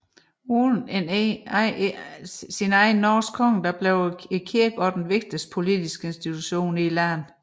Uden en egen norsk konge blev kirken også den vigtigste politiske institution i landet